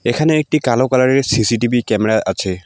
এখানে একটি কালো কালারের সি_সি_টি_ভি ক্যামেরা আছে।